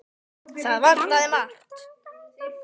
Það vantaði margt.